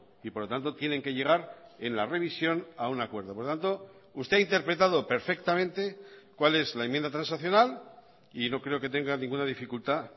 y por lo tanto tienen que llegar en la revisión a un acuerdo por tanto usted ha interpretado perfectamente cual es la enmienda transaccional y no creo que tenga ninguna dificultad